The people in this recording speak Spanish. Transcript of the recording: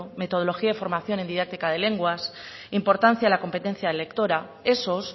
metodología y formación en didáctica de lenguas importancia en la competencia lectora esos